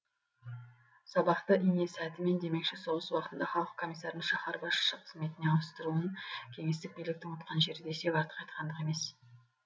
сабақты ине сәтімен демекші соғыс уақытында халық комиссарын шаһар басшысы қызметіне ауыстыруын кеңестік биліктің ұтқан жері десек артық айткандық емес